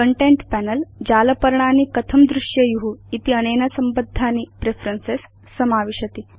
content panel जालपर्णानि कथं दृश्येयु इत्यनेन संबद्धानि प्रेफरेन्सेस् समावेष्टि